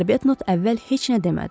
Arbetnot əvvəl heç nə demədi.